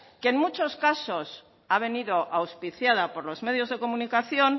que en muchos casos ha venido auspiciada por los medios de comunicación